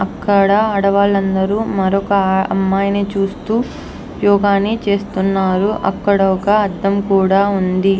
అక్కడ ఆడవాళ్ళందరూ మరొక అమ్మాయిని చూస్తూ యోగ ని చేస్తున్నారు అక్కడ ఒక అర్థం కూడా ఉంది.